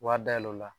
Wari dayɛlɛ o la